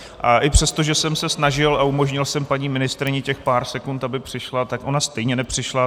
A i přesto, že jsem se snažil a umožnil jsem paní ministryni těch pár sekund, aby přišla, tak ona stejně nepřišla.